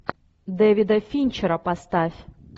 дэвида финчера поставь